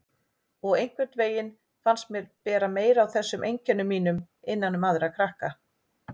Og einhvern veginn fannst mér bera meira á þessum einkennum mínum innan um aðra krakka.